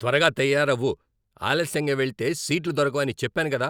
త్వరగా తయారవు! ఆలస్యంగా వెళితే సీట్లు దొరకవని చెప్పాను కదా.